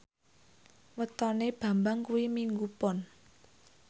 wetone Bambang kuwi Minggu Pon